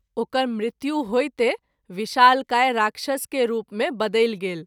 ओकर मृत्यु होइते विशालकाय राक्षस के रुप मे बदलि गेल।